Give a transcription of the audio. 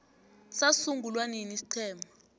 sasungulwa nini isiqhema